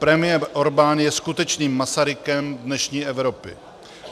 Premiér Orbán je skutečným Masarykem dnešní Evropy.